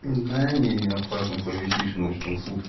да не не опасно повесишь там ночь там сутки